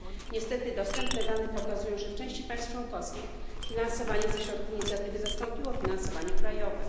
Niestety dostępne dane pokazują, że w części państw członkowskich finansowanie ze środków Inicjatywy zastąpiło finansowanie krajowe.